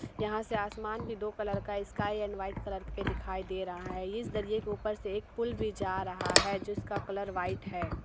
यहाँ से आसमान भी दो कलर का स्काई एंड व्हाइट कलर के दिखाई दे रहा है इस दरिये के ऊपर से एक पुल भी जा रहा है जिसका कलर व्हाइट है।